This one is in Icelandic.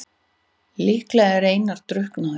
Líklega er Einar drukknaður.